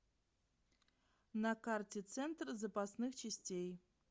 на карте центр запасных частей